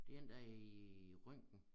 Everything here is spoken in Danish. Det en der er i røntgen